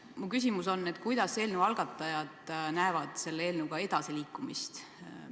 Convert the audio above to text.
Mu küsimus on: kuidas eelnõu algatajad näevad selle eelnõuga edasiliikumist?